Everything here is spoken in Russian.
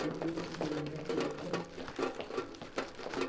ты тут теперь у меня в клетке